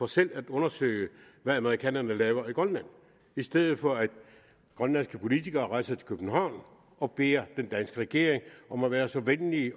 selv at undersøge hvad amerikanerne laver i grønland i stedet for at grønlandske politikere skal rejse til københavn og bede den danske regering om at være så venlig